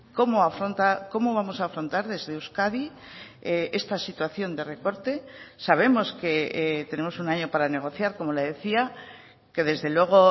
cómo afronta cómo vamos a afrontar desde euskadi esta situación de recorte sabemos que tenemos un año para negociar como le decía que desde luego